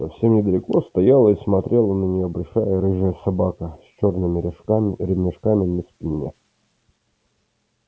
совсем недалеко стояла и смотрела на неё большая рыжая собака с чёрными ремешками на спине